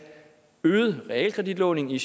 øget realkreditlån i